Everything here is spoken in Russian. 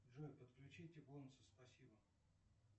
джой подключите бонусы спасибо